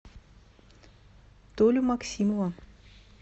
толю максимова